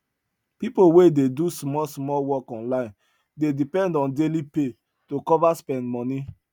people wey dey do small small work online dey depend on daily pay to cover spend money